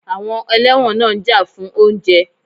Àwọn ẹlẹ́wọ̀n náà ń jà fún oúnjẹ